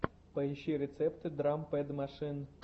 поищи рецепты драм пэд машин